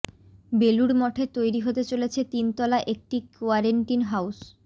বেলুড় মঠে তৈরি হতে চলেছে তিন তলা একটি কোয়ারেন্টিন হাউস